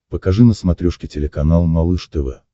покажи на смотрешке телеканал малыш тв